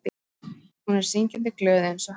Hún er syngjandi glöð einsog hann.